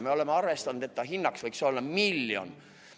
Me oleme arvestanud, et inimelu hind võiks olla miljon.